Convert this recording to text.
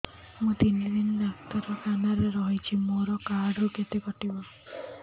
ମୁଁ ତିନି ଦିନ ଡାକ୍ତର ଖାନାରେ ରହିଛି ମୋର କାର୍ଡ ରୁ କେତେ କଟିବ